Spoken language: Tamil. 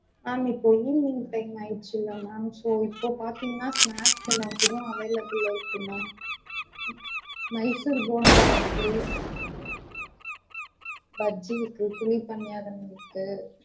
Ma'am இப்போ evening time ஆயிடுச்சுல ma'am so இப்போ பாத்திங்கனா snacks எல்லாம் available ல இருக்கு ma'am மைசூர் போண்டா இருக்கு பஜ்ஜி இருக்கு குழிபனியாரம் இருக்கு